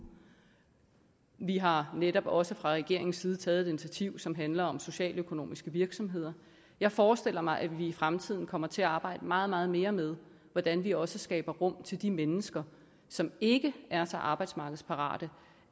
vi har netop også fra regeringens side taget et initiativ som handler om socialøkonomiske virksomheder jeg forestiller mig at vi i fremtiden kommer til at arbejde meget meget mere med hvordan vi også skaber rum til de mennesker som ikke er så arbejdsmarkedsparate